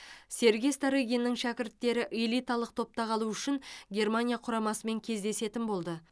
сергей старыгиннің шәкірттері элиталық топта қалу үшін германия құрамасымен кездесетін болды